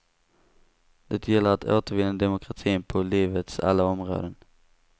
Det gäller att återvinna demokratin på livets alla områden.